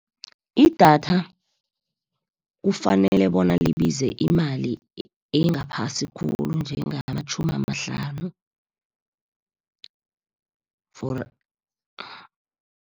Idatha, kufanele bona libize imali engaphasi khulu njengamatjhumi amahlanu